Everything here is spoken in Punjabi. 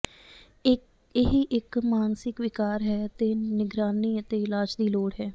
ਇਹ ਹੀ ਇੱਕ ਮਾਨਸਿਕ ਵਿਕਾਰ ਹੈ ਅਤੇ ਨਿਗਰਾਨੀ ਅਤੇ ਇਲਾਜ ਦੀ ਲੋੜ ਹੈ